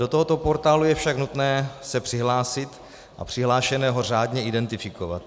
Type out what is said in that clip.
Do tohoto portálu je však nutné se přihlásit a přihlášeného řádně identifikovat.